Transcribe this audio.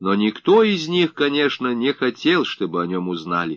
но никто из них конечно не хотел чтобы они узнали